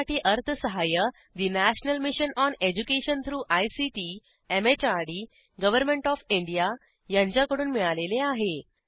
यासाठी अर्थसहाय्य national mission on education through ICT MHRD government of India यांच्याकडून मिळालेले आहे